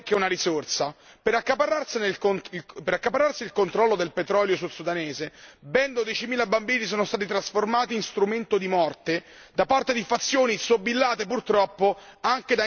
Per accaparrarsi il controllo del petrolio sud sudanese, ben dodicimila bambini sono stati trasformati in strumento di morte da parte di fazioni sobillate, purtroppo, anche da interessi esterni.